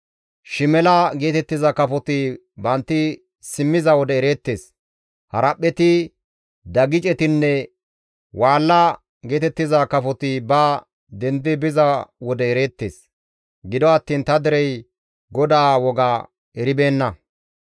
Shimela geetettiza kafoti bantti simmiza wode ereettes; haraphpheti, dagicetinne waalla geetettiza kafoti ba dendi biza wode ereettes; gido attiin ta derey GODAA woga eribeenna.